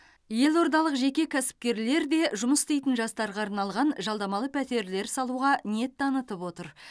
елордалық жеке кәсіпкерлер де жұмыс істейтін жастарға арналған жалдамалы пәтерлер салуға ниет танытып отыр